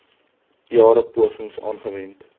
jare pogings aangewend